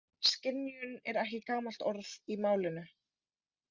Skynjun er ekki gamalt orð í málinu.